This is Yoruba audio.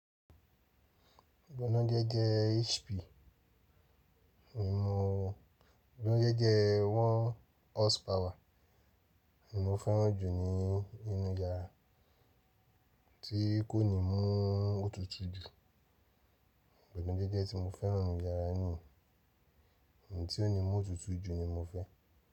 Gbọ̀nádẹ jẹ HP. Mi mọ gbọ̀nádé jẹ one horse power. Mi mò fẹ́ràn jù ní ínú yàrá tí kò ní mú òtútù jù. Gbọ̀nádẹ jẹ́ tí mo fẹ́ràn ní yàrá niyen, òun tí ó ní mú òtútù jù ni mo fẹ́.